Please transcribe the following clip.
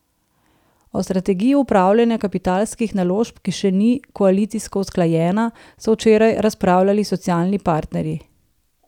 O strategiji upravljanja kapitalskih naložb, ki še ni koalicijsko usklajena, so včeraj razpravljali socialni partnerji.